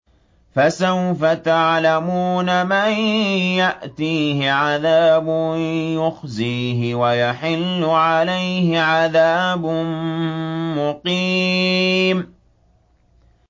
فَسَوْفَ تَعْلَمُونَ مَن يَأْتِيهِ عَذَابٌ يُخْزِيهِ وَيَحِلُّ عَلَيْهِ عَذَابٌ مُّقِيمٌ